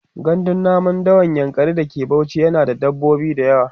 gandun namun dawan yankari da ke Bauchi yana da dabbobi da yawa